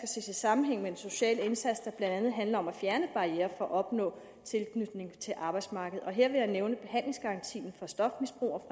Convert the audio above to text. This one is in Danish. ses i sammenhæng med den sociale indsats der blandt andet handler om at fjerne barrierer for at opnå tilknytning til arbejdsmarkedet her vil jeg nævne behandlingsgarantien for stofmisbrugere